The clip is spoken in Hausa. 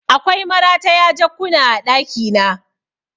Akwai marataya jakkuna a ɗakina